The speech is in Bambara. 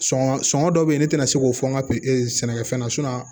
Sɔngɔ sɔngɔ dɔ bɛ yen ne tɛna se k'o fɔ n ka sɛnɛkɛfɛn ye